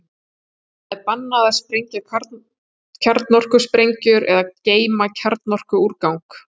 Þar er bannað að sprengja kjarnorkusprengjur eða geyma kjarnorkuúrgang.